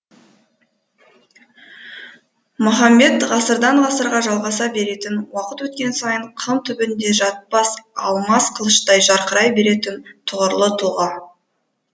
махамбет ғасырдан ғасырға жалғаса беретін уақыт өткен сайын қын түбінде жатпас алмас қылыштай жарқырай беретін тұғырлы тұлға